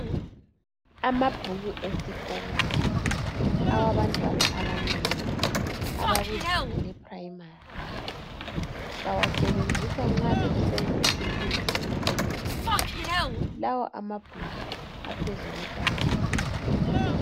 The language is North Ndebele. Amabhuku esikolo awabantwana abancane abakuzinga le primary bawasebenzisa nxa besenza isifundo se Mathematics .Lawa amabhuku aphezu kwetafula